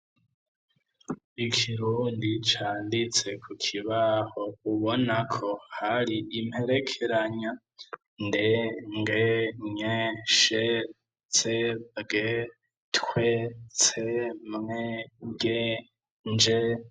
Ikirundi canditse ku kibaho ubonako hari imperekeranya nde nge nye she sege twe tse mwe ge nje.